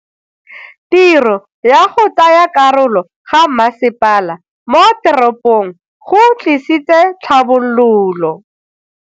Tiro ya go tsaya karolo ga masepala mo teropong go tlisitse tlhabololo.